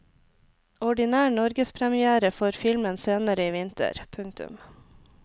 Ordinær norgespremière får filmen senere i vinter. punktum